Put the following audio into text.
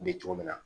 Bɛ cogo min na